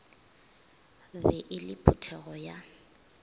be e le phuthego ya